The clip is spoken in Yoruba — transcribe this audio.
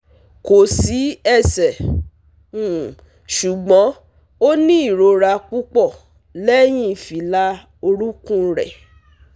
Ko si ese um sugbon oni irora pupo lehin fila orukun re